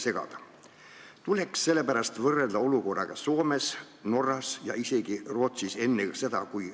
Sellepärast tuleb meie olukorda võrrelda olukorraga Soomes, Norras ja isegi Rootsis .